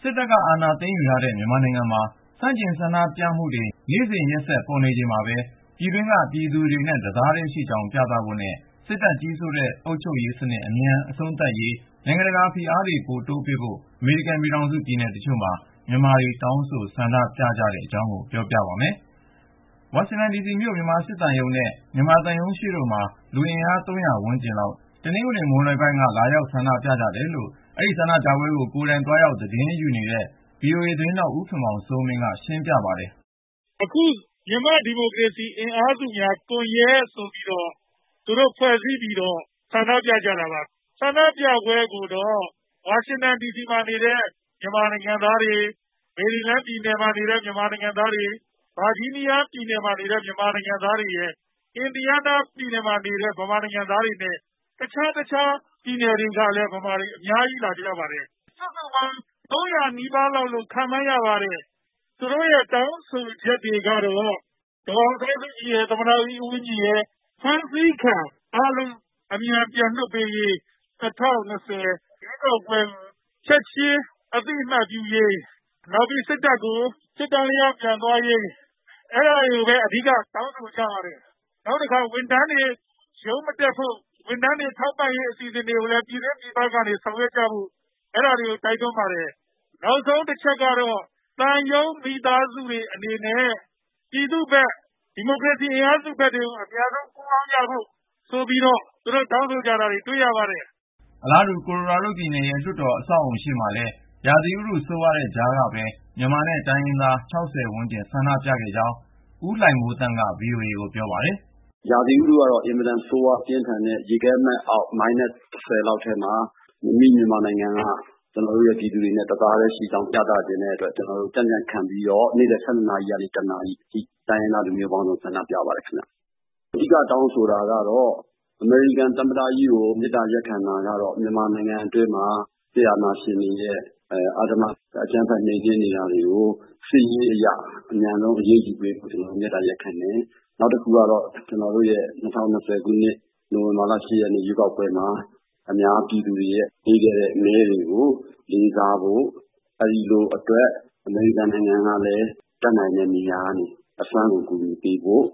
စစ်တပ်က အာဏာသိမ်းယူထားတဲ့ မြန်မာနိုင်ငံမှာ ဆန့်ကျင်ဆန္ဒပြမှုတွေ နေ့စဉ်ရက်ဆက် ပေါ်ပေါက်နေချိန်မှာပဲ ပြည်တွင်းကပြည်သူတွေနဲ့ တသားထဲရှိကြောင်း ပြသဖို့နဲ့ စစ်တပ်ကြီးစိုးတဲ့ အုပ်ချုပ်ရေးစနစ် အမြန် အဆုံးသတ်စေရေး နိုင်ငံတကာက ဖိအားတွေ ပိုတိုးပေးဖို့ အမေရိကန်ပြည်ထောင်စု ပြည်နယ်တချို့မှာ မြန်မာတွေ တောင်းဆို ဆန္ဒပြကြတဲ့အကြောင်း ကိုဉာဏ်ဝင်းအောင်က စုစည်းတင်ပြထားပါတယ်။ ဝါရှင်ဒီစီမြို့ မြန်မာစစ်သံရုံးရှေ့နဲ့ မြန်မာသံရုံး ရှေ့တို့မှာ လူအင်အား ၃၀၀ ဝန်းကျင်လောက် တနင်္ဂနွေ မွန်းလွဲပိုင်းက လာရောက်ဆန္ဒပြကြတယ်လို့ အဲဒီဆန္ဒပြပွဲမှာ ကိုယ်တိုင်သွားရောက် သတင်းယူနေတဲ VOA သတင်းထောက် ဦးခင်မောင်စိုးမင်းက ရှင်းပြပါတယ်။ " မြန်မာ့ဒီမိုကရေစီ အင်အားစုများကွန်ယက်ဆိုပြီးတော့ သူတို့ဖွဲ့စည်းပြီးတော့ အခု ဆန္ဒပြနေကြတာပါ။ ဒီဆန္ဒပြပွဲမှာတော့ ဝါရှင်တန်ဒီစီမှာနေတဲ့ မြန်မာတွေ ၊ မေရီလန်း ဗာဂျီးနီးယားနဲ့ အင်ဒီယားနား ပြည်နယ်တွေက မြန်မာတွေအပြင် တခြားတခြားသော ပြည်နယ်တွေက မြန်မာတွေလည်း အတော်လေး လာရောက် ဆန္ဒပြကြပါတယ်။ ၃၀၀ နီးပါးလောက်ရှိမယ်လို့ ခန့်မှန်းရပါတယ်။ သူတို့ရဲ့ တောင်းဆိုချက်တွေကတော့ ဒေါ်အောင်ဆန်းစုကြည်ရယ်၊ သမ္မတကြီး ဦးဝင်းမြင့်ရယ် ဖမ်းဆီးခံထားရသူအားလုံး အမြန် ပြန်လွှတ်ပေးရေး ၊ ၂၀၂၀ ရွေးကောက်ပွဲ ရလဒ်ကို ချက်ချင်းအသိအမှတ်ပြုရေး ၊ နောက်ပြီး စစ်တပ်က စစ်တန်းလျား အမြန်ပြန်သွားရေး အဲဒါတွေကို တောင်းဆိုကြပါတယ်။ နောက်ပြီး ဝန်ထမ်းတွေ ရုံးမတက်ဖို့ ၊ ဝန်ထမ်းတွေအတွက် ထောက်ပံ့ရေး အစီအစဉ်တွေကို ပြည်တွင်းပြည်ပက ဆောင်ရွက်ကြဖို့ကိုလည်း တိုက်တွန်းပါတယ်။ နောက်ဆုံးတချက်ကတော့ သံရုံးမိသားစုတွေ အနေနဲ့ ပြည်သူတွေဖက် ဒီမိုကရေစီအင်အားစုတွေဖက်ကို အမြန်ဆုံး ပူးပေါင်းကြဖို့.. ဆိုပြီးတော့ သူတို့ တောင်းဆိုကြတာ တွေ့ရပါတယ်။ " အလားတူ ကိုလိုရားဒိုးပြည်နယ်ရဲ့ လွှတ်တော် အဆောက်အဦရှေ့မှာလည်း ရာသီဥတု ဆိုးဝါးတဲ့ကြားကပဲ မြန်မာနဲ့ တိုင်းရင်းသား ၆၀ ဝန်းကျင် ဆန္ဒပြခဲ့ကြောင်း မြန်မာ့အရေးလှုပ်ရှားသူ ဦးလှိုင်မိုးသန်းက VOA ကို ပြောပါတယ်။ " ရာသီဥတုကတော့ အင်မတန်ဆိုးရွား ပြင်းထန်တဲ့ ရေခဲမှတ်အောက် (အနှုတ် ဒီဂရီ ၁၀) လောက်မှာ အမိမြန်မာပြည်က ပြည်သူတွေနဲ့ တသားထဲရှိကြောင်း ပြသချင်တဲ့အတွက် ကျနော်တို့ ကြံ့ကြံ့ခံပြီးတော့ နေ့လည် ၁၂ ကနေ ၁ နာရီထိ တိုင်းရင်းသားလူမျိုးပေါင်းစုံ ဆန္ဒပြကြပါတယ်။ အဓိကတော့ အမေရိကန်သမ္မတကြီးကို မေတ္တာရပ်ခံတာက မြန်မာနိုင်ငံအတွင်းမှာ စစ်အာဏာရှင်က အဓမ္မ အကြမ်းဖက် နှိမ်နင်းနေတာတွေကို စစ်ရေးအရ အမြန်ဆုံး အရေးယူပေးဖို့ ကျနော်တို့ မေတ္တာရပ်ခံတယ်။ နောက်တခုက ၂၀၂၀ နိုဝင်ဘာ ၈ ရက် ရွေးကောက်ပွဲမှာ အများပြည်သူက ပေးခဲ့တဲ့ မဲရလဒ်ကို လေးစားဖို့ ၊ အဲဒါအတွက် အမေရိကန်ကလည်း တတ်နိုင်တဲ့ နေရာကနေ အစွမ်းကုန် ကူညီပေးဖို့ ၊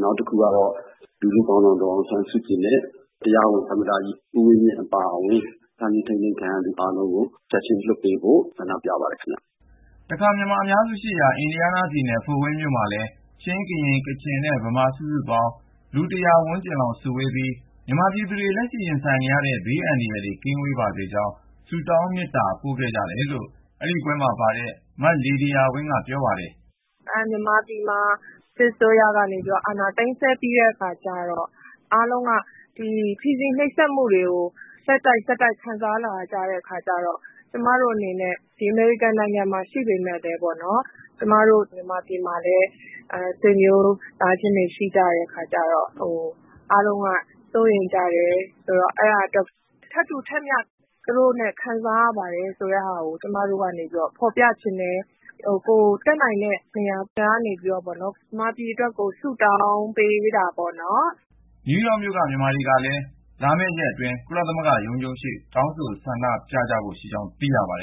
နောက်တခုကတော့ လူထုခေါင်းဆောင် ဒေါ်အောင်ဆန်းစုကြည်နဲ့ တရားဝင်သမ္မတကြီး ဦးဝင်းမြင့်အပါအဝင် ဖမ်းဆီးထိန်းသိမ်းထားသူ အကုန်လုံးကို ချက်ချင်းလွှတ်ပေးဖို့ ဆန္ဒပြ တောင်းဆိုပါတယ်။ " တခါ မြန်မာအများစုရှိရာ အင်ဒီယားနားပြည်နယ် ဖို့ဝိန်းမြို့မှာလည်း ချင်း၊ ကရင်၊ ကချင်နဲ့ ဗမာ စုစုပေါင်း လူ ၉၀ - ၁၀၀ လောက် စုဝေးပြီး မြန်မာပြည်သူတွေ လက်ရှိရင်ဆိုင်နေရတဲ့ ဘေးအန္တရာယ် ကင်းဝေးပါစေကြောင်း ဆုတောင် မေတ္တာပို့ကြတယ်လို့ အဲဒီပွဲမှာပါတဲ့ မ လေဒီယာဝင်းက ပြောပါတယ်။ " မြန်မာပြည်မှာ စစ်အစိုးရက အာဏာသိမ်းပြီးတဲ့အခါမှာ ဖိစီးနှိပ်စက်မှုတွေကို အားလုံးက ဆက်တိုက် ခံစားလာရတဲ့ အခါကျတော့ ကျမတို့ အနေနဲ့ ဒီအမေရိကန်နိုင်ငံမှာ ရှိနေပေမယ့်လည်းပေ့ါနော် ၊ မြန်မာပြည်မှာ အားလုံးရဲ့ ဆွေမျိုးသားချင်းတွေ ရှိကြတဲ့အခါကျတော့ အားလုံးက စိုးရိမ်ကြတယ်။ သူတို့နဲ့ ထပ်တူထပ်မျှ ခံစားနေရပါတယ် ဆိုတာကို ဖေါ်ပြချင်တဲ့အတွက် ကိုယ်တတ်နိုင်တဲ့ နေရာကနေပြီး မြန်မာပြည်အတွက်ကို ဆုတောင်း ပေးကြတာပေါ့နော်။ " နယူးယောက်မြို့က မြန်မာတွေကလည်း လာမယ့်ရက်အတွင်း ကုလသမဂ္ဂရုံးချုပ်ရှေ့ တောင်းဆိုဆန္ဒပြဖို့ရှိကြောင်း သိရပါတယ်